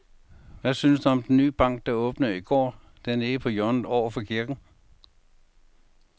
Hvad synes du om den nye bank, der åbnede i går dernede på hjørnet over for kirken?